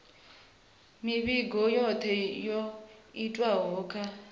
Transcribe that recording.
mivhigo yothe yo itwaho kha